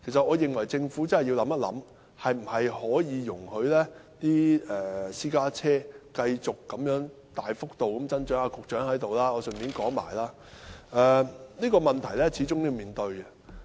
我認為政府要認真想一想，應否容許私家車繼續大幅增長——現在局長在席，我趁此機會提出——這個問題始終要面對。